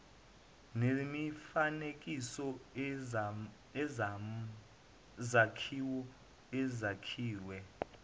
nemifanekiso nezakhiwo ezakhiwe